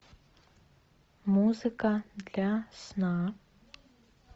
музыка для сна